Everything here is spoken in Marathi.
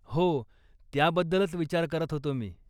हो, त्याबद्दलच विचार करत होतो मी.